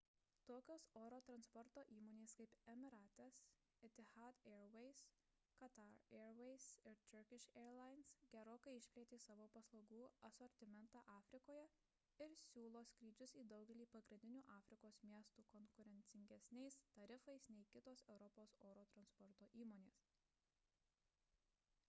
tokios oro transporto įmonės kaip emirates etihad airways qatar airways ir turkish airlines gerokai išplėtė savo paslaugų asortimentą afrikoje ir siūlo skrydžius į daugelį pagrindinių afrikos miestų konkurencingesniais tarifais nei kitos europos oro transporto įmonės